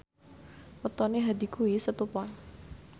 wetone Hadi kuwi Setu Pon